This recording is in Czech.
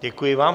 Děkuji vám.